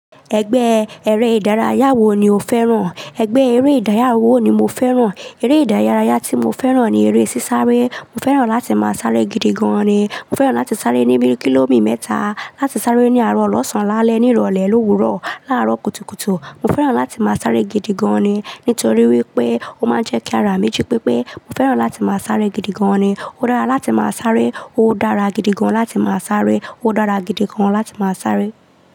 Ẹgbẹ́ eré ìdárayá wo ni o fẹ́ràn? Ẹgbẹ́ eré ìdárayá wo ni mo fẹ́ràn? Eré ìdárayá tí mo fẹ́ràn ni eré sísáré. Mo fẹ́ràn láti máa sáré gidi gan ni. Mo fẹ́ràn láti sáré ní bíi kìlómí mẹ́ta, láti sáré ní àárọ̀ ọlọ́sàn-án lálẹ́ ní ìrọ̀lẹ́, lówuro, láàárọ̀ kùtùkùtù. Mo fẹ́ràn láti máa sáré gidi gan ni, nítorí wípé ó máa ń jẹ́ kí a rà mí jí pépé. Mo fẹ́ràn láti máa sáré gidi gan ni. Ó dára láti máa sáré. Ó dára gidi gan láti máa sáré. Ó dára gidi gan láti máa sáré.